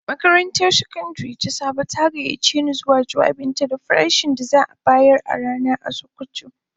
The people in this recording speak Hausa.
Makarantar Sakandare ta Sabo ta gayyace ni zuwa jawabinta da farashin da za'a bayar a rana a sokoto.